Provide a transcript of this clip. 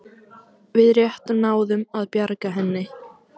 Við rétt náðum að bjarga henni